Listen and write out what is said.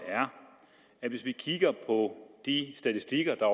at hvis vi kigger på de statistikker der